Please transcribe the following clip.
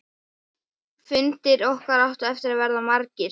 Fundir okkar áttu eftir að verða margir.